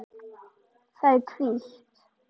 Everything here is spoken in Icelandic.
Það er hvítt.